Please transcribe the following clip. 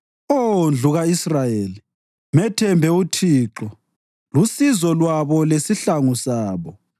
Oh ndlu ka-Israyeli, methembe uThixo lusizo lwabo lesihlangu sabo.